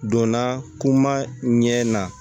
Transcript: Donna kuma ɲɛ na